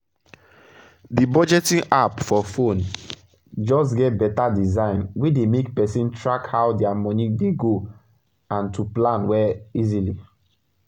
d budgeting app for phone get better design wey dey make persin track how dia moni dey go and to plan well easily